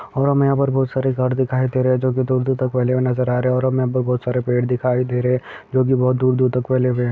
और हमें यहाँ पर बहुत सारे गार्ड दिखाई दे रहे है जो की दूर-दूर तक फैले हुए नजर आ रहे है और हमें यहां बहुत सारे पेड़ दिखाई दे रहे है जो की दूर-दूर तक फैले है।